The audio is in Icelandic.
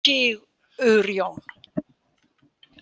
Sigurjón